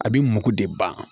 A bɛ mako de ban